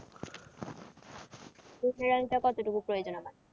কতটুকু প্রয়োজন আমার?